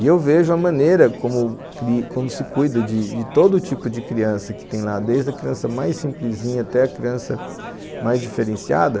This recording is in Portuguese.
E eu vejo a maneira como se cuida de todo tipo de criança que tem lá, desde a criança mais simplesinha até a criança mais diferenciada.